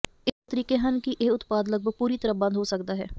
ਇਹ ਦੋ ਤਰੀਕੇ ਹਨ ਕਿ ਇਹ ਉਤਪਾਦ ਲਗਭਗ ਪੂਰੀ ਤਰ੍ਹਾਂ ਬੰਦ ਹੋ ਸਕਦਾ ਹੈ